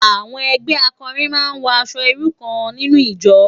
Awòn ègbè àkòrín má n wò aṣò irú kán ninú ijò